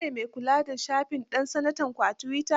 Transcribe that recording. Kai ne me kula da shafin ɗan sanatanku na twitter?